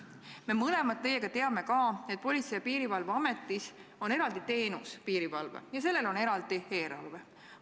Me mõlemad teame ka, et Politsei- ja Piirivalveametis on eraldi teenus – piirivalve – ja sellel on eraldi eelarve.